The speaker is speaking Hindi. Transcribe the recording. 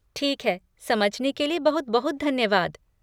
ठीक है, समझने के लिए बहुत बहुत धन्यवाद।